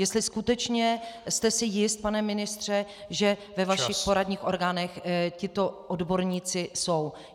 Jestli skutečně jste si jist, pane ministře, že ve vašich poradních orgánech tito odborníci jsou.